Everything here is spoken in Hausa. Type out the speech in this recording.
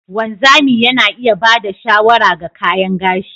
Wanzami Yana iya ba da shawara ga kayan gashi.